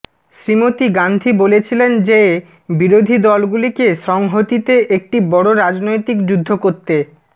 শ্রীমতী গান্ধী বলেছিলেন যে বিরোধী দলগুলিকে সংহতিতে একটি বড় রাজনৈতিক যুদ্ধ করতে